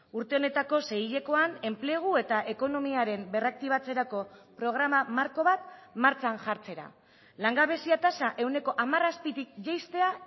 urte honetako seihilekoan enplegu eta ekonomiaren berraktibatzerako programa marko bat martxan jartzera langabezia tasa ehuneko hamar azpitik jaistea